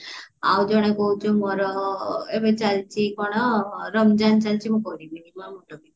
ଆଉ ଜଣେ କହୁଚି ମୋର ଏବେ ଚାଲିଚି କଣ ରମଜାନ ଚାଲିଛି ମୁଁ କରିବିନି